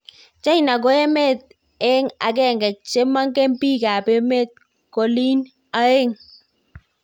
China ko emet eng agenge cheng man'ge pik ap emet kolyn aeng